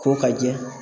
Ko ka jɛ